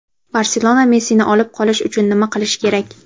"Barselona" Messini olib qolish uchun nima qilishi kerak?.